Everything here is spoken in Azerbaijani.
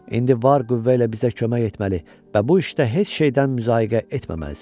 İndi var qüvvə ilə bizə kömək etməli və bu işdə heç nədən müzayiqə etməməlisən.